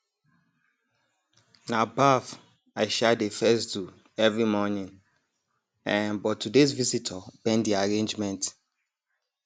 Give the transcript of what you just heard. na baff i um dey first do every morning um but todays visitor bend the arrangement